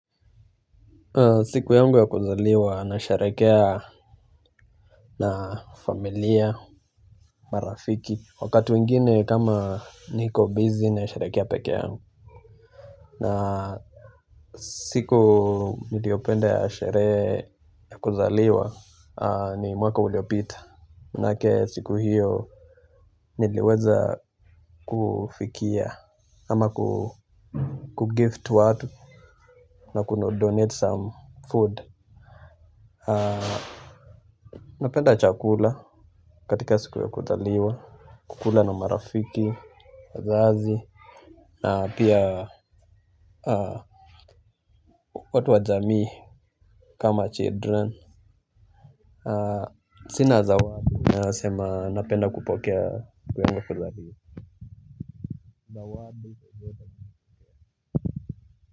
Siku yangu ya kuzaliwa na sharekea na familia, marafiki. Wakati wingine kama niko bizi na sharekea peke yangu. Na siku niliopenda ya shere ya kuzaliwa ni mwaka uliopita. Manake siku hiyo niliweza kufikia ama kugift watu na kudonate some food. Napenda chakula katika siku ya kuzaliwa. Kukula na marafiki, wazazi na pia watu wa jamii kama children. Sina zawadi nasema napenda kupokea kwenye kuzaliwa. Zawadi.